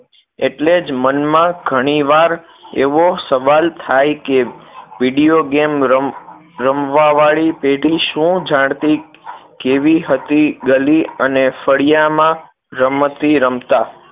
એટલે જ મનમાં ઘણી વાર એવો સવાલ થાય કે videogame રમ રમવાવાળી પેઢી શું જાણતી કેવી હતી ગલી અને ફળિયામાં રમતી રમતા